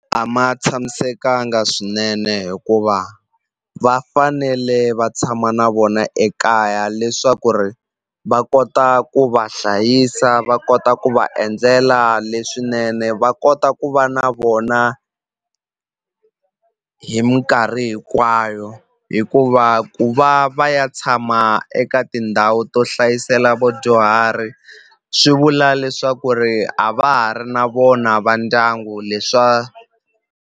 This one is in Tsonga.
A ma tshamisekanga swinene hikuva va fanele va tshama na vona ekaya leswaku ri va kota ku va hlayisa va kota ku va endlela leswinene va kota ku va na vona hi minkarhi hinkwayo hikuva ku va va ya tshama eka tindhawu to hlayisela vudyuhari swi vula leswaku ri a va ha ri na vona va ndyangu leswa.